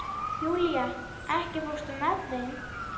Júlía, ekki fórstu með þeim?